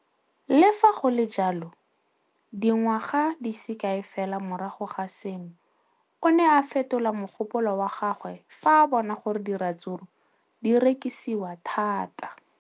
Le fa go le jalo, dingwaga di se kae fela morago ga seno, o ne a fetola mogopolo wa gagwe fa a bona gore diratsuru di rekisiwa thata.